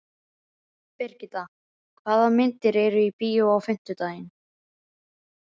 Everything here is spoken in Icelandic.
Brigitta, hvaða myndir eru í bíó á fimmtudaginn?